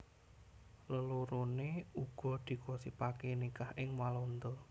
Leloroné uga digosipaké nikah ing Walanda